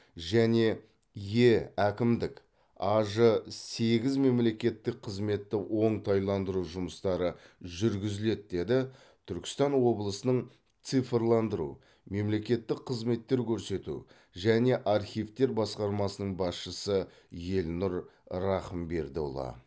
және е әкімдік аж сегіз мемлекеттік қызметті оңтайландыру жұмыстары жүргізіледі деді түркістан облысының цифрландыру мемлекеттік қызметтер көрсету және архивтер басқармасының басшысы елнұр рахымбердіұлы